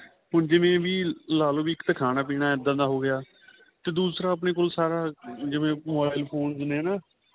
ਹੁਣ ਜਿਵੇਂ ਵੀ ਲਾਲੋ ਇੱਕ ਤਾਂ ਖਾਣਾ ਪੀਣਾ ਏਦਾਂ ਦਾ ਹੋ ਗਿਆ ਤੇ ਦੂਸਰਾ ਆਪਣੇਂ ਕੋਲ ਸਾਰਾ ਜਿਵੇਂ mobile phones ਨੇ